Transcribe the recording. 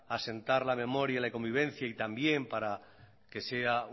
asentar la memoria y la convivencia y también para que sea